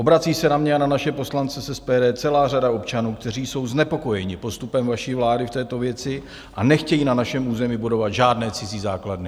Obrací se na mě a na naše poslance z SPD celá řada občanů, kteří jsou znepokojeni postupem vaší vlády v této věci a nechtějí na našem území budovat žádné cizí základny.